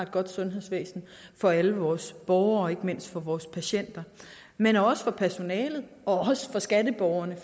godt sundhedsvæsen for alle vores borgere og ikke mindst for vores patienter men også for personalet og også for skatteborgerne